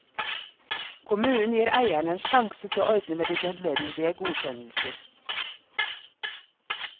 Kommunen gir eierne en sjanse til å ordne med de nødvendige godkjennelser.